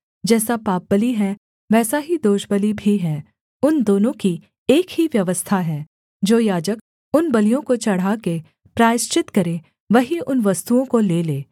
जैसा पापबलि है वैसा ही दोषबलि भी है उन दोनों की एक ही व्यवस्था है जो याजक उन बलियों को चढ़ा के प्रायश्चित करे वही उन वस्तुओं को ले ले